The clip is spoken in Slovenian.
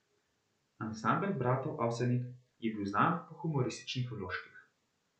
Ansambel bratov Avsenik je bil znan po humorističnih vložkih.